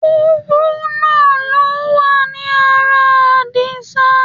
Kúrúnà ló wà ní ara Àdìsá.